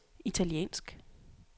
italiensk